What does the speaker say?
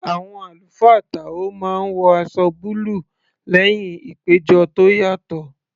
Àwọn àlùfáà táò máa ń wọ aṣọ búlù lẹ́hìn ìpéjọ tó yàtọ̀